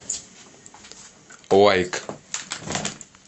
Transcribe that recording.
лайк